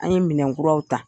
An ye minɛkuraw ta.